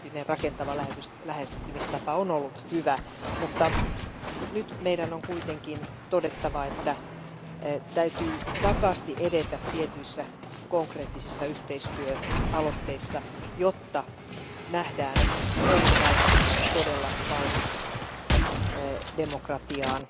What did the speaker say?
rakentava lähestymistapa on ollut hyvä, mutta nyt meidän on kuitenkin todettava, että täytyy vakaasti edetä tietyissä konkreettisissa yhteistyöaloitteissa, jotta nähdään, onko Valko Venäjä todella valmis demokratiaan.